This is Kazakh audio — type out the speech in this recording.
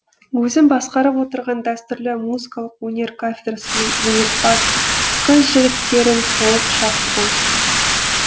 өзім басқарып отырған дәстүрлі музыкалық өнер кафедрасының өнерпаз қыз жігіттерін толық шақырдым